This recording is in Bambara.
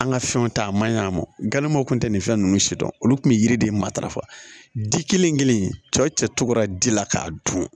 An ka fɛnw ta a ma ɲ'a ma galibɔw kun tɛ nin fɛn ninnu si dɔn olu kun bɛ yiri de matarafa ji kelen kelen cɛw cɛ cogo ji la k'a dun